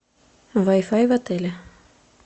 вай фай в отеле